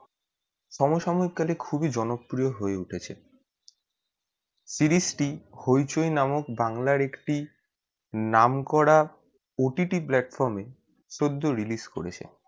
সময় সময় কালে খুবই জনপ্রিয় হয়ে উঠেছে series টি hoichoi নামক বাংলা একটি নাম করা OTT platform এ সদ্য release করেছে